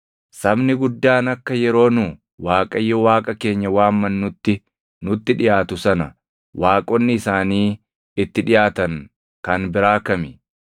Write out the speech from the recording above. Sabni guddaan akka yeroo nu Waaqayyo Waaqa keenya waammannutti nutti dhiʼaatu sana waaqonni isaanii itti dhiʼaatan kan biraa kami?